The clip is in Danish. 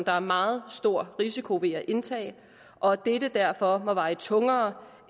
er meget stor risiko ved at indtage og at dette derfor må veje tungere